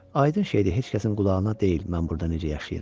Aydın şeydir, heç kəsin qulağına deyil, mən burda necə yaşayıram.